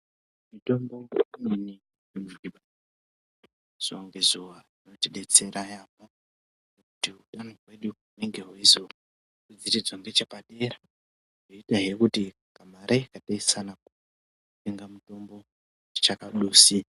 Mutombo imweni inomwiwa zuwa nezuwa inotibetsera yambo kuti utano hwedu hunenge hweizo vhiridzwa nechepadera hweidai kuti pamalaini beswana kutenga mutombo itikadusi